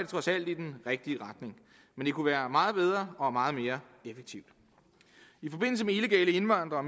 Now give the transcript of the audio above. trods alt i den rigtige retning men det kunne være meget bedre og meget mere effektivt i forbindelse med illegale indvandrere